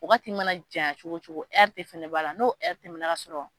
Waagati mana jan cogo cogo de fɛnɛ b' ala n'o tɛmɛna ka sɔrɔ.